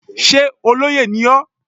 Sé olóyè ni ọ́?